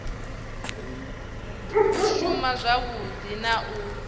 u shuma zwavhui na u